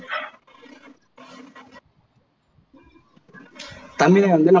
தமிழை வந்து